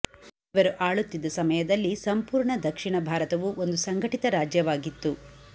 ಇವರು ಆಳುತ್ತಿದ್ದ ಸಮಯದಲ್ಲಿ ಸಂಪೂರ್ಣ ದಕ್ಷಿಣ ಭಾರತವು ಒಂದು ಸಂಘಟಿತ ರಾಜ್ಯವಾಗಿತ್ತು